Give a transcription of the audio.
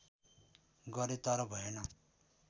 गरें तर भएन